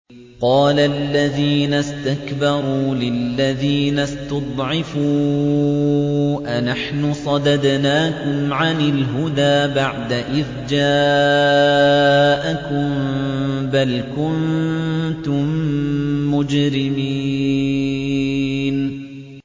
قَالَ الَّذِينَ اسْتَكْبَرُوا لِلَّذِينَ اسْتُضْعِفُوا أَنَحْنُ صَدَدْنَاكُمْ عَنِ الْهُدَىٰ بَعْدَ إِذْ جَاءَكُم ۖ بَلْ كُنتُم مُّجْرِمِينَ